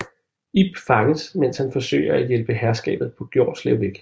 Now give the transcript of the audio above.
Ib fanges imens han forsøger at hjælpe herskabet på Gjorslev væk